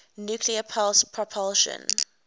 nuclear pulse propulsion